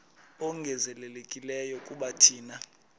ongezelelekileyo kuba thina